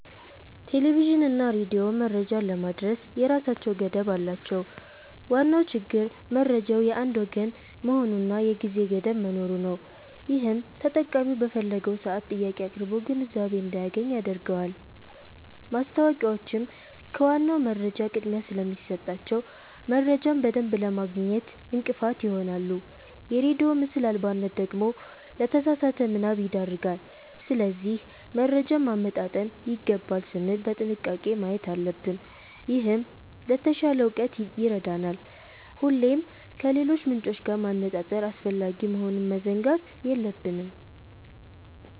ቴሌቪዥንና ሬዲዮ መረጃን ለማድረስ የራሳቸው ገደብ አላቸው። ዋናው ችግር መረጃው የአንድ ወገን መሆኑና የጊዜ ገደብ መኖሩ ነው፤ ይህም ተጠቃሚው በፈለገው ሰዓት ጥያቄ አቅርቦ ግንዛቤ እንዳያገኝ ያደርገዋል። ማስታወቂያዎችም ከዋናው መረጃ ቅድሚያ ስለሚሰጣቸው፣ መረጃን በደንብ ለማግኘት እንቅፋት ይሆናሉ። የሬዲዮ ምስል አልባነት ደግሞ ለተሳሳተ ምናብ ይዳርጋል። ስለዚህ መረጃን ማመጣጠን ይገባል ስንል በጥንቃቄ ማየት አለብን፤ ይህም ለተሻለ እውቀት ይረዳናል። ሁሌም ከሌሎች ምንጮች ጋር ማነጻጸር አስፈላጊ መሆኑን መዘንጋት የለብንም።